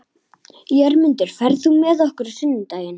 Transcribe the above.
Jörmundur, ferð þú með okkur á sunnudaginn?